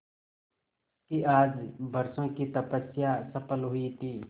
उसकी आज बरसों की तपस्या सफल हुई थी